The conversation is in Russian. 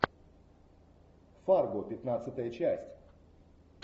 фарго пятнадцатая часть